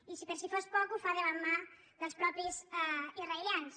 i per si fos poc ho fa de la mà dels mateixos israelians